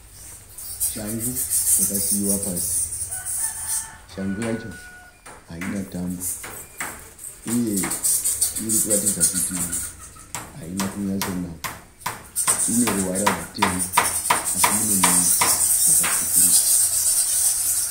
Shangu yakasiiwa pasi. Shangu yacho haina tambo, uye irikuratidza kuti haina kunyatsonaka. Ineruvara rwutema, asi mune mumwe makatsvukuruka.